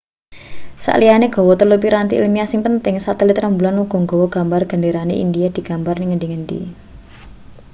sakliyane gawa telu piranti ilmiah sing penting satelit rembulan uga gawa gambar genderane india digambar ning ngendi-endi